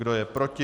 Kdo je proti?